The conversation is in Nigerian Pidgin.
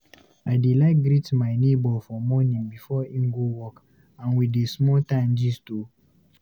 I dey like greet my nebo for morning before im go work and we dey small time gist too.